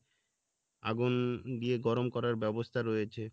আগুন দিয়ে গরম করার ব্যবস্থা রয়েছে